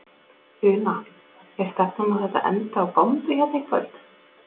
Una: Er stefnan að þetta endi á bombu hérna í kvöld?